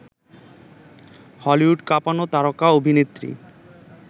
Hollywood কাঁপানো তারকা অভিনেত্রী